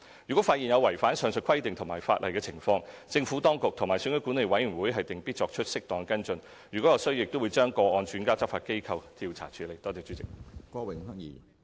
如果發現有違反上述規定及法例的情況，政府當局和選舉管理委員會定必作出適當跟進；如有需要，亦會把個案轉介執法機關調查處理。